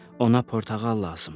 Ona portağal lazımdır.